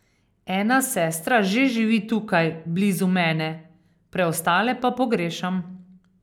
Ena sestra že živi tukaj, blizu mene, preostale pa pogrešam.